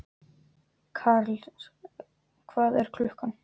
Karles, hvað er klukkan?